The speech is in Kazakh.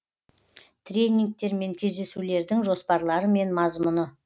тренингтер мен кездесулердің жоспарлары мен мазмұны